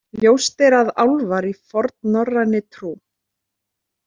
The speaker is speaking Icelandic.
Ljóst er að álfar í fornnorræni trú.